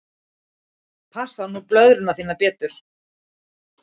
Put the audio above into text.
Passaðu nú blöðruna þína betur.